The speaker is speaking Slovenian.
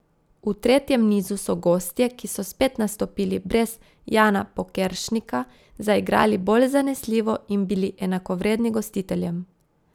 V tretjem nizu so gostje, ki so spet nastopili brez Jana Pokeršnika, zaigrali boj zanesljivo in bili enakovredni gostiteljem.